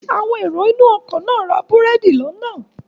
Àwọn èrò inú ọkọ̀ náà ra búrẹ́dì lọ́nà